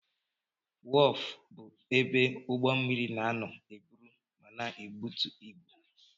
Wọf bụ ebe ụgbọ mmiri na-anọ eburu ma na-ebutu ibu.